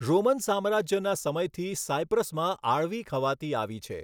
Roman સામ્રાજ્યના સમયથી સાયપ્રસમાં આળવી ખવાતી આવી છે.